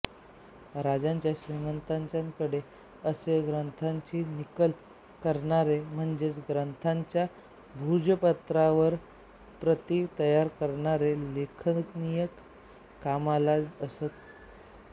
राजाच्या श्रीमंतांच्याकडे असे ग्रंथांची नकल करणारे म्हणजे ग्रंथांच्या भूर्जपत्रावर प्रती तयार करणारे लेखनिक कामाला असत